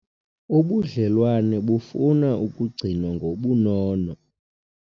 Ubudlelwane bufuna ukigcinwa ngobunono.